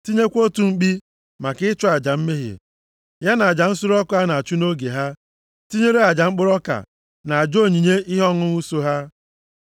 Tinyekwa otu mkpi maka ịchụ aja mmehie, ya na aja nsure ọkụ a na-achụ nʼoge ha, tinyere aja mkpụrụ ọka na aja onyinye ihe ọṅụṅụ so ha.